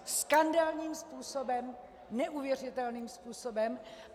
Skandálním způsobem, neuvěřitelným způsobem.